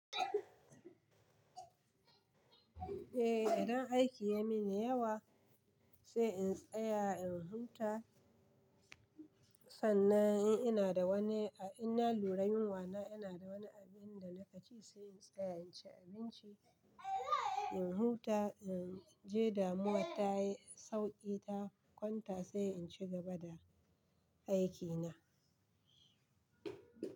Eh, idan aiki ya mini yawa se in tsaya in huta. Sannan in ina da wani, a inna lura yunwa na, ina da wani abin da nake ci sai in tsaya in ci abinci. In huta, in je damuwar ta yi sauki, ta kwanta sai in cigaba da aiki na.